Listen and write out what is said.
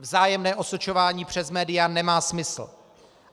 Vzájemné osočování přes média nemá smysl.